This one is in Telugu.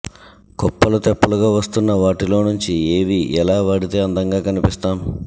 కుప్పలు తెప్పలుగా వస్తున్న వాటిలో నుంచి ఏవి ఎలా వాడితే అందంగా కనిపిస్తాం